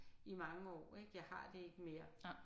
I mange år ik jeg har det ikke mere